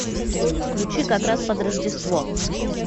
включи как раз под рождество